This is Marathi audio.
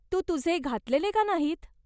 तू तुझे घातलेले का नाहीत ?